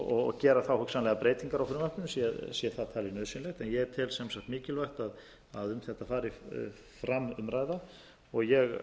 og gera þá hugsanlega breytingar á frumvarpinu sé það talið nauðsynlegt en ég tel sem sagt mikilvægt að um þetta fari fram umræða og ég